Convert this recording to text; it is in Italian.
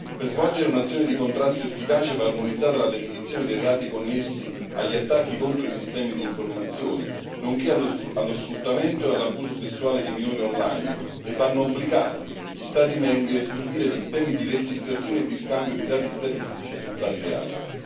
Per svolgere un'azione di contrasto efficace, va armonizzata la definizione dei reati connessi agli attacchi contro i sistemi di informazione, nonché allo sfruttamento e all'abuso sessuale di minori online e vanno obbligati gli Stati membri a istituire sistemi di registrazione e di scambio di dati statistici su tali reati.